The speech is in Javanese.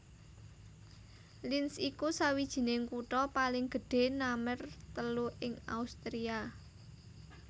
Linz iku sawijining kutha paling gedhé namer telu ing Austria